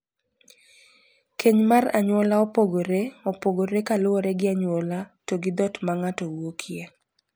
Keny mar anyuola opogore opogore kaluwore gi anyuola to gi dhoot ma ng`ato wuokie.